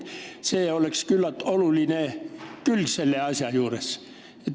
See on küllalt oluline külg selle asja juures.